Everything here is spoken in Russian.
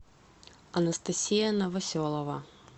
анастасия новоселова